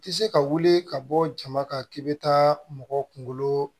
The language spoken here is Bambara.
Ti se ka wuli ka bɔ jama kan k'i bɛ taa mɔgɔ kunkolo